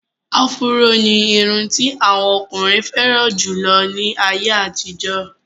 Áfúró ní irun ti àwọn ọkùnrin fẹ́ràn jù lọ ní àyè àtijọ́.